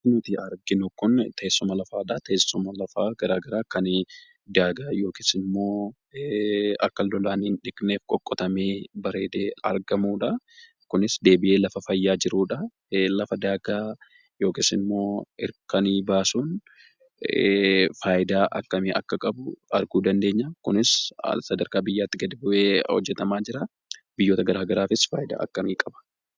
Fakkii nuyi arginu kun, teessuma lafaadha. Teessuma lafaa gargaraa kanii daagaa yookisimmo, akka lolaan hin dhiqneef qoqqotame baareede argamudha. kunis deebi'ee lafa fayyaa jirudha. lafaa daagaa yookisimmo hirkanii baasuun faayidaa akkami akka qabu argu dandeenya. kunis, sadarkaa biyyatti gadi bu'e hojjetama jira. biyyoota garaagaraafis faayidaa akkami qaba?